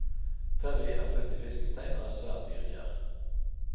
Terrie er født i fiskens tegn og er svært dyrekjær.